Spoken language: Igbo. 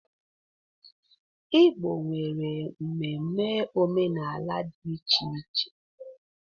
Igbo nwere ememe omenala dị iche iche.